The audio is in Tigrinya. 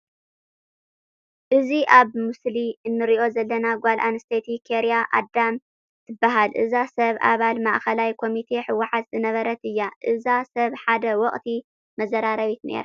እዛ ኣብ ምስሉ ንሪኣ ዘለና ጓል ኣነስተይቲ ኬርያ ኣደም ትበሃል፡፡ እዛ ሰብ ኣባል ማእከላይ ኮሚቴ ሕወሓት ዝነበረት እያ፡፡ እዛ ሰብ ሓደ ወቕቲ መዘራረቢት ነይራ፡፡